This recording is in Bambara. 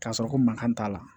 K'a sɔrɔ ko mankan t'a la